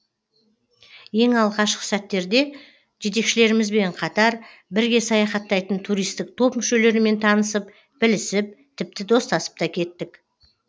ең алғашқы сәттерде жетекшілерімізбен қатар бірге саяхаттайтын туристік топ мүшелерімен танысып білісіп тіпті достасып та кеттік